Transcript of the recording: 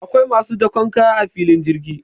akwai masu dakon kaya a filin jirgi